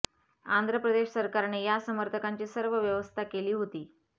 आंध्र प्रदेश सरकारने या समर्थकांची सर्व व्यवस्था केली होती